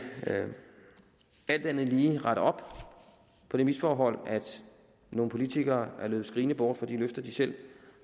alt andet lige rette op på det misforhold at nogle politikere er løbet skrigende bort fra de løfter de selv